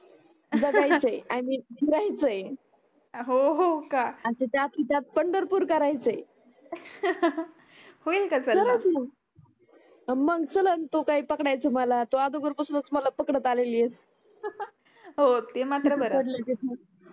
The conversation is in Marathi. हो ते मात्र बर